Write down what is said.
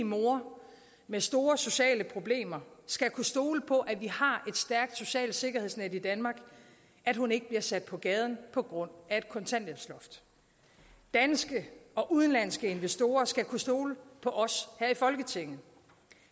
mor med store sociale problemer skal kunne stole på at vi har stærkt socialt sikkerhedsnet i danmark at hun ikke bliver sat på gaden på grund af et kontanthjælpsloft danske og udenlandske investorer skal kunne stole på os her i folketinget